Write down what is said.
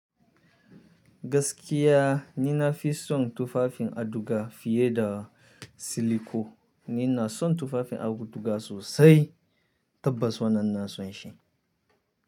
Gaskiya ni na fi son tufafin auduga fiye da siliko. Ni na son tufafin auduga sosai. Tabbas wannan ina son shi.